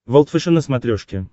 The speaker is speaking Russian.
волд фэшен на смотрешке